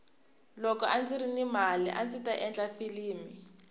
loko andziri ni mali andzi ta endla filimi